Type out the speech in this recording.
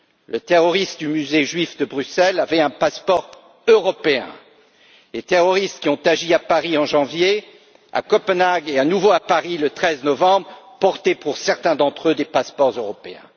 Le terroriste du musée juif de Bruxelles avait un passeport européen, les terroristes qui ont agi à Paris en janvier, à Copenhague et à nouveau à Paris le 13 novembre disposaient, pour certains d'entre eux, de passeports européens.